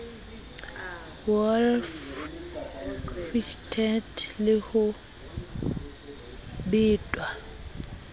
wolf whistled le ho betwa